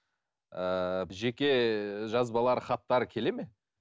ыыы жеке жазбалар хаттар келеді ме